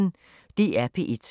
DR P1